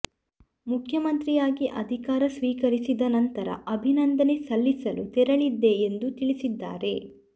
ಮುಖ್ಯಮಂತ್ರಿಯಾಗಿ ಅಧಿಕಾರ ಸ್ವೀಕರಿಸಿದ ನಂತರ ಅಭಿನಂದನೆ ಸಲ್ಲಿಸಲು ತೆರಳಿದ್ದೆ ಎಂದು ತಿಳಿಸಿದ್ದಾರೆ